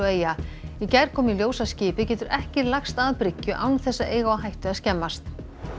eyja í gær kom í ljós að skipið getur ekki lagst að bryggju án þess að eiga á hættu að skemmast